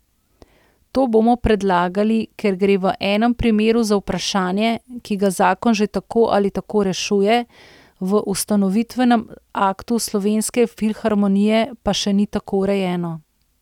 To bomo predlagali, ker gre v enem primeru za vprašanje, ki ga zakon že tako ali tako rešuje, v ustanovitvenem aktu Slovenske filharmonije pa še ni tako urejeno.